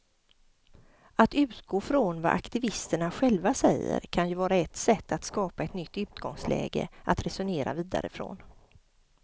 Att utgå från vad aktivisterna själva säger kan ju vara ett sätt att skapa ett nytt utgångsläge att resonera vidare från.